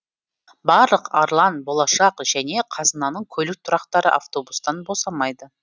барлық арлан болашақ және қазынаның көлік тұрақтары автобустан босамайды